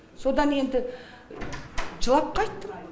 содан енді жылап қайттым